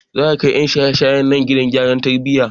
Za a kai 'yan shaye shayen nan gidan gyara tarbiyya.